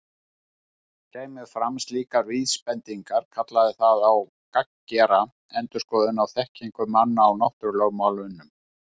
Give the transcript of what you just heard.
Kæmu fram slíkar vísbendingar kallaði það á gagngera endurskoðun á þekkingu manna á náttúrulögmálunum.